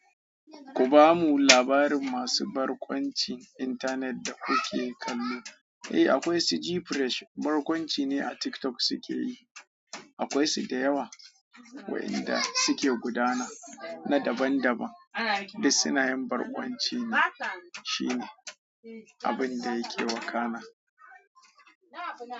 Ku bamu labarin masu barkwanci intanet da kuke kallo. Eh akwai su Gfresh barkwanci ne a TikTok suke yi. Akwai su da yawa waɗanda suke gudana na daban daban duk suna yin barkwanci ne. Shine abun da yake wakana.